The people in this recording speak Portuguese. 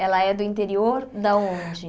Ela é do interior da onde?